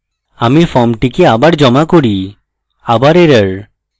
আমি ফর্মটিকে আবার জমা করি আবার error